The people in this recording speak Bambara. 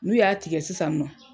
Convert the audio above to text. N'u y'a tigɛ sisan nɔ.